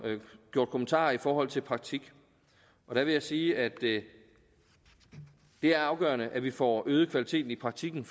gjort kommentarer i forhold til praktikken der vil jeg sige at det er afgørende at vi får øget kvaliteten i praktikken